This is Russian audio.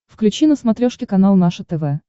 включи на смотрешке канал наше тв